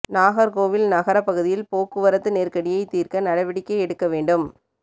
நாகர்கோவில் நகர பகுதியில் போக்குவரத்து நெருக்கடியை தீர்க்க நடவடிக்கை எடுக்க வேண்டும்